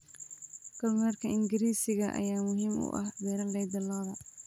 Kormeerka Ingiriisiga ayaa muhiim u ah beeralayda lo'da.